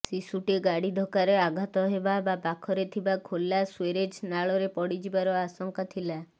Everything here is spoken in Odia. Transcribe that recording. ଶିଶୁଟି ଗାଡ଼ି ଧକ୍କାରେ ଆଘାତ ହେବା ବା ପାଖରେ ଥିବା ଖୋଲା ସ୍ୱେରେଜ୍ ନାଳରେ ପଡ଼ିଯିବାର ଆଶଙ୍କା ଥିଲା